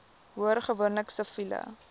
hoor gewoonlik siviele